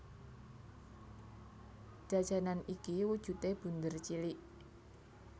Jajanan iki wujudé bunder cilik